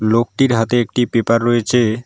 লোকটির হাতে একটি পেপার রয়েচে।